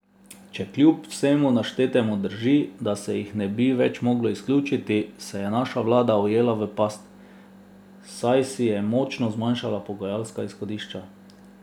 Če kljub vsemu naštetemu drži, da se jih ne bi več moglo izključiti, se je naša vlada ujela v past, saj si je močno zmanjšala pogajalska izhodišča.